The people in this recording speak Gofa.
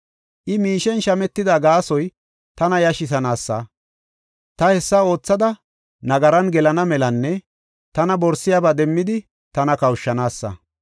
I miishen shametida gaasoy tana yashisanaasa; ta hessa oothada nagaran gelana melanne tana borisiyabaa demmidi tana kawushanaassa.